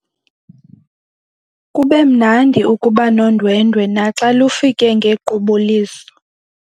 Kube mnandi ukuba nondwendwe naxa lufike ngequbuliso.